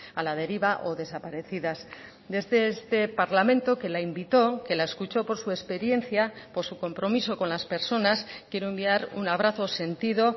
a la deriva o desaparecidas desde este parlamento que la invitó que la escuchó por su experiencia por su compromiso con las personas quiero enviar un abrazo sentido